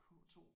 K2?